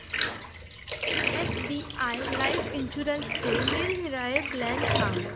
SBI life इन्शुरन्सचे निरनिराळे plan सांग